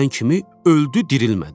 Məni görən kimi öldü, dirilmədi.